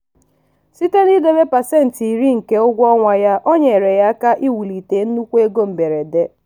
site n'idebe pasentị iri nke ego ụgwọ ọnwa ya o nyere ya aka iwulite nnukwu ego mberede.